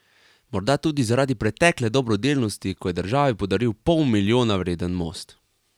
Morda tudi zaradi pretekle dobrodelnosti, ko je državi podaril pol milijona vreden most.